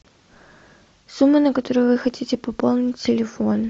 сумма на которую вы хотите пополнить телефон